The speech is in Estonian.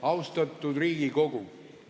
Austatud Riigikogu!